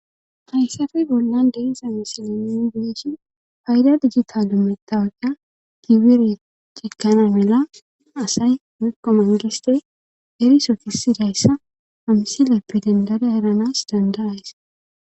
hayssafe bollan deiza misile mbeeshi fayda dijjitalumetta aga kibire cekana mela asay mikomandiste erisofisidayssa amsileppe dandare heranas danda ays